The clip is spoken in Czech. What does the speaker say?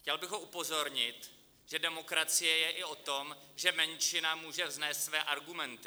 Chtěl bych ho upozornit, že demokracie je i o tom, že menšina může vznést své argumenty.